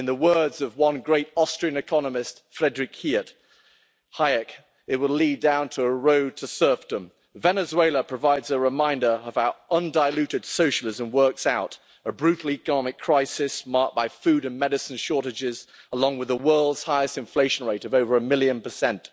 In the words of one great Austrian economist, Friedrich Hayek, it will lead down the road to serfdom. Venezuela provides a reminder of how undiluted socialism works out a brutal economic crisis marked by food and medicine shortages, along with the world's highest inflation rate of over a million percent.